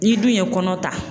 N'i dun ye kɔnɔ ta